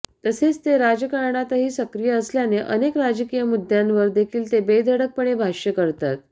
तसेच ते राजकारणातही सक्रिय असल्याने अनेक राजकीय मुद्द्यांवर देखील ते बेधडकपणे भाष्य करतात